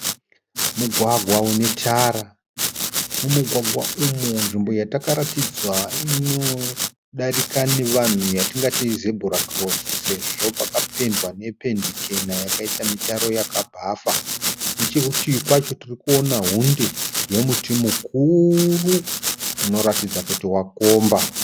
Mugwagwa une tara. Mumugwagwa umu nzvimbo yatakaratidzwa inodarika nevanhu yatingati zebhura kirosi sezvo pakapendwa nependi chena yakaita mitaro yakabhafa. Nechekurutivi kwacho tirikuona hunde yemuti mukuru unoratidza kuti wakomba.